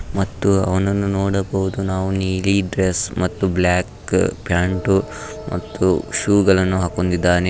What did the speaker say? ಮತ್ತು ಅವನನ್ನು ನೋಡಬಹುದು ನೀಲಿ ಡ್ರೆಸ್ ಮತ್ತು ಬ್ಲಾಕ್ ಪ್ಯಾಂಟ್ ಮತ್ತು ಶೂ ಗಳನ್ನು ಹಾಕೊಂಡಿದ್ದಾನೆ.